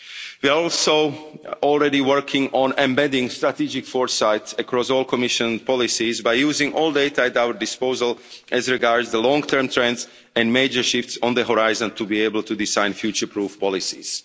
of law. We are also already working on embedding strategic foresight across all Commission policies by using all data at our disposal as regards the long-term trends and major shifts on the horizon to be able to design future-proof policies.